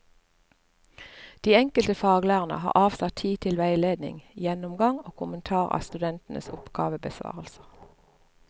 De enkelte faglærerne har avsatt tid til veiledning, gjennomgang og kommentar av studentenes oppgavebesvarelser.